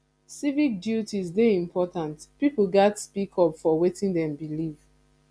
civic duties dey important pipo gatz speak up for wetin dem believe